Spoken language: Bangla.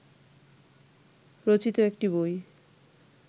রচিত একটি বই